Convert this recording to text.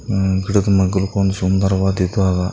ಹಮ್ಮ್ ಗಿಡಕ್ ಮಾಗ್ಲಕ್ ಒಂದ್ ಸುಂದರ ವಾದ್ ಇದಾವ.